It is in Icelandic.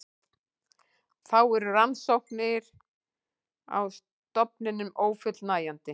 Þá eru rannsóknir á stofninum ófullnægjandi